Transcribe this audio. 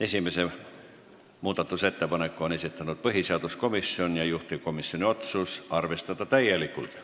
Esimese muudatusettepaneku on esitanud põhiseaduskomisjon ja juhtivkomisjoni otsus on arvestada täielikult.